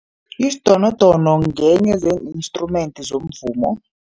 Isidonodono ngenye zeen-instrument zomvumo.